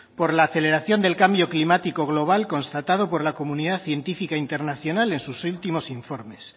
por la aceleración del cambio climático global constatado por la comunidad científica internacional en sus últimos informes